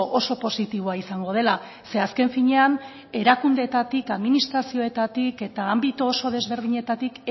oso positiboa izango dela ze azken finean erakundeetatik administrazioetatik eta anbito oso desberdinetatik